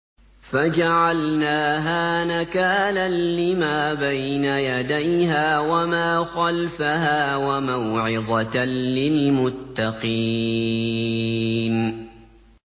فَجَعَلْنَاهَا نَكَالًا لِّمَا بَيْنَ يَدَيْهَا وَمَا خَلْفَهَا وَمَوْعِظَةً لِّلْمُتَّقِينَ